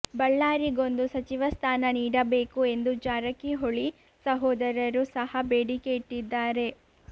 ಬಳ್ಳಾರಿಗೊಂದು ಸಚಿವ ಸ್ಥಾನ ನೀಡಬೇಕು ಎಂದು ಜಾರಕಿಹೊಳಿ ಸಹೋದರರು ಸಹ ಬೇಡಿಕೆ ಇಟ್ಟಿದ್ದಾರೆ